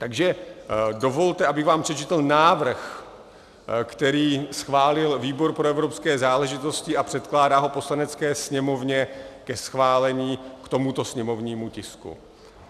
Takže dovolte, abych vám přečetl návrh, který schválil výbor pro evropské záležitosti a předkládá ho Poslanecké sněmovně ke schválení k tomuto sněmovnímu tisku.